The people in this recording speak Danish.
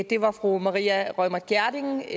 det var fru maria reumert gjerding